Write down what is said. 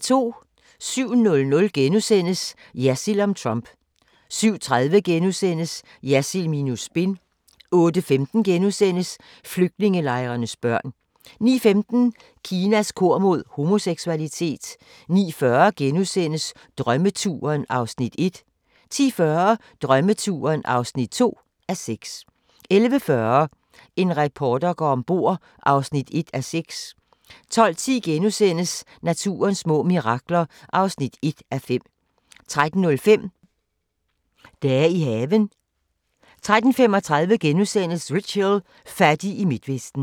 07:00: Jersild om Trump * 07:30: Jersild minus spin * 08:15: Flygtningelejrenes børn * 09:15: Kinas kur mod homoseksualitet 09:40: Drømmeturen (1:6)* 10:40: Drømmeturen (2:6) 11:40: En reporter går om bord (1:6) 12:10: Naturens små mirakler (1:5)* 13:05: Dage i haven 13:35: Rich Hill – fattig i Midtvesten *